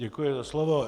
Děkuji za slovo.